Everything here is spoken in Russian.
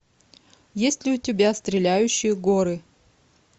есть ли у тебя стреляющие горы